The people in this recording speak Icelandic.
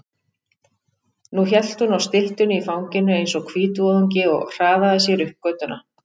Nú hélt hún á styttunni í fanginu eins og hvítvoðungi og hraðaði sér upp götuna.